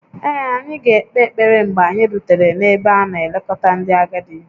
Ee, anyị ga-ekpe ekpere mgbe anyị rutere n'ebe a na-elekọta ndị agadi